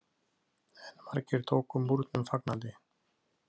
En margir tóku Múrnum fagnandi.